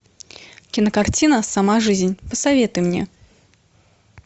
кинокартина сама жизнь посоветуй мне